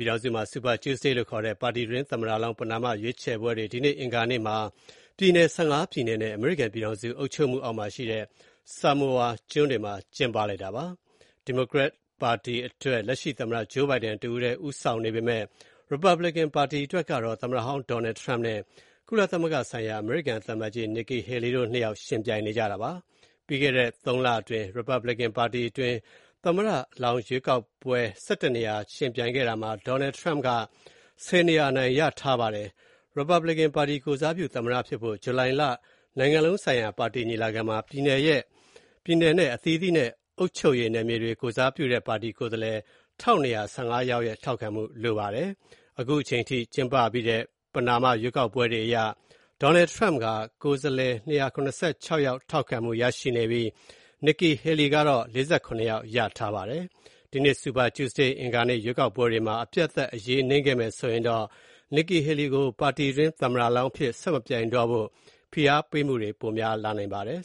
ြည်ထောင်စုမှာ Super Tuesday လို့ခေါ်တဲ့ ပါတီတွင်း သမ္မတလောင်း ပဏာမရွေးချယ်ပွဲတွေ ဒီနေ့ အင်္ဂါနေ့ ပြည်နယ် ၁၅ ပြည်နယ်နဲ့ အမေရိကန်ပြည်ထောင်စု အုပ်ချုပ်မှုအောက်မှာရှိတဲ့ Samoa ကျွန်းတွေမှာ ကျင်းပါတယ်။ ဒီမိုကရက်ပါတီအတွက် လက်ရှိ သမ္မတ Joe Biden တဦးတည်းဦးဆောင်နေပေမဲ့ ရီပတ်ဘလစ်ကန် ပါတီအတွက်တော့ သမ္မတဟောင်း Donald Trump နဲ့ ကုလသမဂ္ဂဆိုင်ရာ အမေရိကန် သံအမတ်ကြီးဟောင်း Nikki Haley တို့နှစ်ယောက် ယှဉ်ပြိုင်နေကြတာပါ။ ပြီးခဲ့တဲ့ သုံးလအတွင်း ရီပတ်ဘလစ်ကန်ပါတီတွင်း သမ္မတလောင်း ရွေးချယ်ပွဲ ၁၁ နေရာ ယှဉ်ပြိုင်ခဲ့တာမှာ Donald Trump က ၁၀ နေရာ အနိုင်ရထားပါတယ်။ ရီပတ်ဘလစ်ကန်ပါတီ ကိုယ်စားပြု သမ္မတဖြစ်ဖို့ ဂျူလိုင်လ နိုင်ငံလုံးဆိုင်ရာ ပါတီညီလာခံမှာ ပြည်နယ်နဲ့အသီးသီးနဲ့ အုပ်ချုပ်ရေးနယ်မြေတွကို ကိုယ်စားပြုတဲ့ ပါတီကိုယ်စားလှယ် ၁,၂၁၅ ယောက်ရဲ့ ထောက်ခံမှု လိုပါတယ်။အခုအချိန်အထိ ကျင်းပပြီးတဲ့ ပဏာမရွေးကောက်ပွဲတွေအရ Donald Trump က ကိုယ်စားလှယ် ၂၇၆ ယောက် ထောက်ခံမှုရထားပြီး Nikki Haley က ၄၇ ယောက် ရထားပါတယ်။ ဒီနေ့ Super Tuesday အင်္ဂါနေ့ ရွေးကောက်ပွဲတွေမှာ အပြတ်အသတ် အရေးနိမ့်ခဲ့မယ်ဆိုရင် Nikki Haley ကို ပါတီတွင်း သမ္မတလောင်းအဖြစ် ဆက်မပြိုင်တော့ဖို ဖိအားပေးမှုတွေ ပိုများလာနိုင်ပါတယ်